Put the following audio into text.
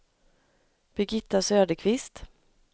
Birgitta Söderqvist